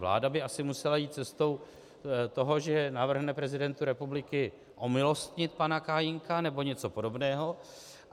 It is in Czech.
Vláda by asi musela jít cestou toho, že navrhne prezidentu republiky omilostnit pana Kajínka nebo něco podobného.